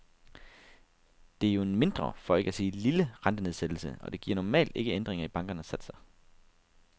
Det er jo en mindre, for ikke at sige lille, rentenedsættelse, og det giver normalt ikke ændringer i bankernes satser.